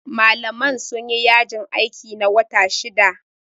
Malaman sun yi yajin aiki, na wata shida.